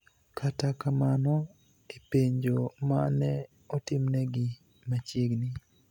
Kata kamano, e penjo ma ne otimnegi machiegni,